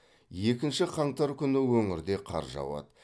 екінші қаңтар күні өңірде қар жауады